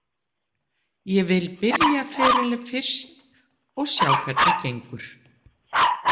Ég vil byrja ferilinn fyrst og sjá hvernig gengur.